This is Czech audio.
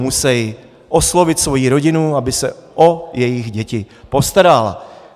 Musí oslovit svoji rodinu, aby se o jejich děti postarala.